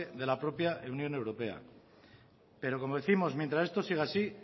de la propia unión europea pero como décimos mientras esto siga así